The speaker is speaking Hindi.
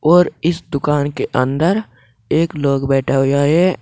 और इस दुकान के अंदर एक लोग बैठा हुया है।